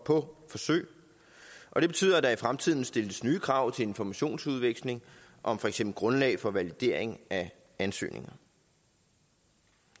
på forsøg og det betyder at der i fremtiden stilles nye krav til informationsudveksling om for eksempel grundlag for validering af ansøgningerne